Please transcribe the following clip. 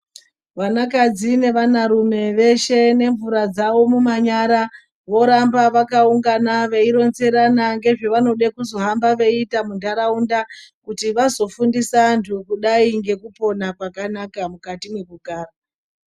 Vanakadzi nevanarume veshe nemvura dzavo mumanyara voramba vakaungana veironzerana ngezvevanoda kuzohamba veiita muntaraunda kuti vazofundisa antu kudai ngekupona kwakanaka mukati mekugara.